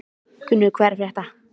Gunnur, hvað er að frétta?